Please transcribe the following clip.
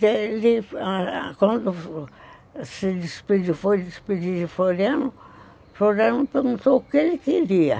Quando foi se despedir de Floriano, Floriano perguntou o que ele queria.